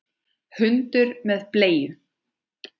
Hundur með bleiu!